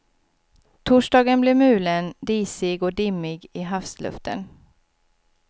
Torsdagen blev mulen, disig och dimmig i havsluften.